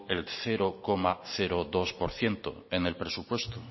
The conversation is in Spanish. el cero coma dos por ciento en el presupuesto